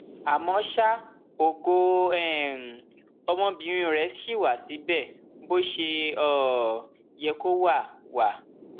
àmọ ṣá ògo um ọmọbìnrin rẹ ṣì wá síbẹ bó um ṣe yẹ kó wá wá